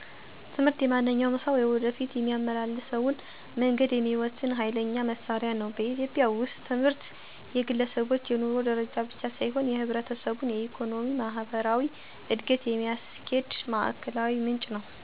ትምህርት የማንኛውም ሰው የወደፊት የሚያመላልሰውን መንገድ የሚወስን ኋይለኛ መሳሪያ ነው። በኢትዮጵያ ውስጥ ትምህርት የግለሰቦች የኑሮ ደረጃ ብቻ ሳይሆን የህብረተሰቡን የኢኮኖሚ፣ ማህበራዊ እድገት የሚያስኪድ ማዕከላዊ ምንጭ ነው። ትምህርት የህብረተሰቡን እድገት የሚመጣው እንዴት ነው? ለተባለው መልስ መስረታዊ ትምህርት ላይ በማተኮር፣ የቴክኖሎጂን በትምህርት ውስጥ ማዋሃድ መቻል፣ የተማርነውን ወደ ተግባር ስንቀይርው፣ የሴቶችን ትምህርት ለማሳድግ፣ በኢኮኖሚ ደጋፍን ማጎልበት እና የፓሊሲ እና የመንግሥት ደጋፍ ጋር ሲዋሀድ ነው።